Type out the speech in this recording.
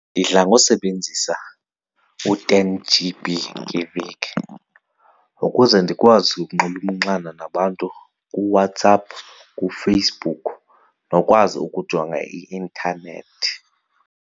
Ndidla ngosebenzisa u-ten G_B ngeveki ukuze ndikwazi ukunxulumana nabantu kuWhatsApp kuFacebook ke nokwazi ukujonga i-intanethi.